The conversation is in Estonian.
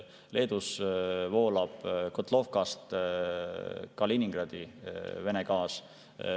Leedus voolab Kotlovkast Kaliningradi Vene gaas.